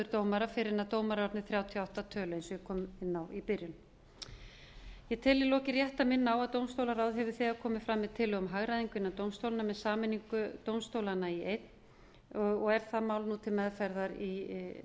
dómara fyrr en dómarar eru orðnir þrjátíu og átta að tölu eins og ég kom inn á í byrjun ég tel í lokin rétt að minna á að dómstólaráð hefur þegar komið fram með tillögu um hagræðingu innan dómstólanna með sameiningu dómstólanna í einn og er það mál nú til meðferðar í